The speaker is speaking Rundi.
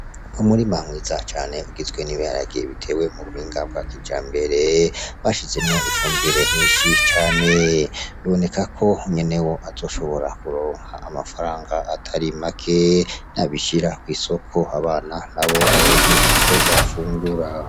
Umurima mwiza cane ugizwe n'ibiharage bitewe mu buhinga bwa kijambere, bashizemwo ifumbire nyinshi cane, biboneka ko nyenewo azoshobora kuronka amafaranga atari make, niyabishira kw'isoko, abana nabo baronke ico bafungura.